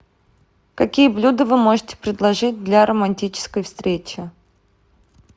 какие блюда вы можете предложить для романтической встречи